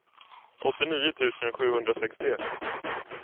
åttionio tusen sjuhundrasextioett